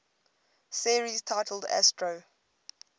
series titled astro